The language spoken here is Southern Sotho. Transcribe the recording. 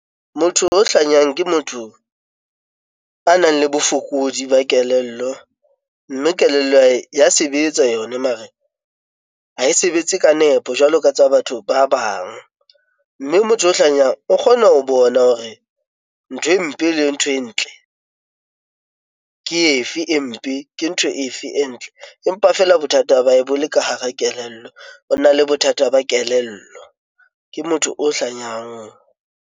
Motho o hlanyang ke motho a nang le bofokodi ba kelello mme kelello ya hae ya sebetsa yona mare ha e sebetse ka nepo jwalo ka tsa batho ba bang, mme motho o hlanyang o kgona ho bona hore ntho e mpe le ntho e ntle ke efe e mpe, ke ntho efe e ntle. Empa feela bothata ba hae bole ka hara kelello, o na le bothata ba kelello ke motho o.